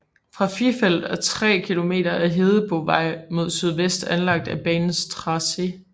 Fra Frifelt er 3 km af Hedebovej mod sydvest anlagt på banens tracé